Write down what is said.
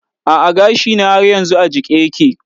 A'a gashina har yanzu a jike yake.